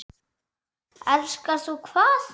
Elskar þú hvað?